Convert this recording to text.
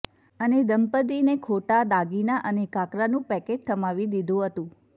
અને દંપતીને ખોટા દાગીના અને કાકરાનું પેકેટ થમાવી દીધું હતુ